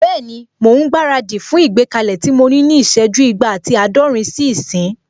Bẹ́ẹ̀ni, mò ún gbára dì fún ìgbékalẹ̀ tí mo ní ní ìsẹ́jú igba ati àádọ́rin sí ìsín